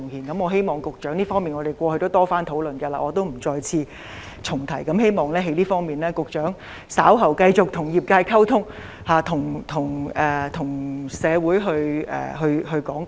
我過去亦曾多次與局長討論這方面的問題，我不重提了，希望局長稍後會就這方面繼續與業界溝通，向社會作出講解。